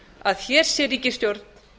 að hér sé ríkisstjórn